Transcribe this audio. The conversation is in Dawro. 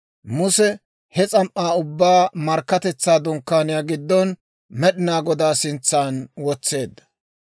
Muse he s'am"aa ubbaa Markkatetsaa Dunkkaaniyaa giddon Med'inaa Godaa sintsan wotseedda.